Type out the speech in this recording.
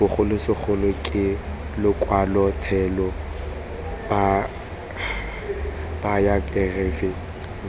bogolosegolo ke lokwalotshelo bayokerafi lwa